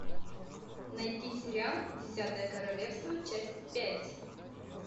найти сериал десятое королевство часть пять